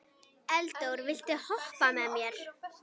Eldór, viltu hoppa með mér?